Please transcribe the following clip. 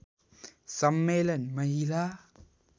सम्मेलन महिला